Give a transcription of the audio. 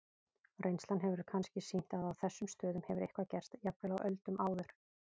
Reynslan hefur kannski sýnt að á þessum stöðum hefur eitthvað gerst, jafnvel á öldum áður.